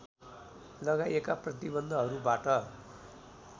लगाइएका प्रतिबन्धहरूबाट